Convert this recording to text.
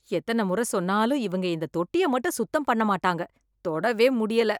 எத்தனை முறை சொன்னாலும் இவங்க இந்த தொட்டியை மட்டும் சுத்தம் பண்ண மாட்டாங்க. தொடவே முடியல